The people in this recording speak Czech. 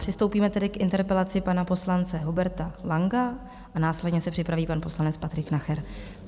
Přistoupíme tedy k interpelaci pana poslance Huberta Langa a následně se připraví pan poslanec Patrik Nacher.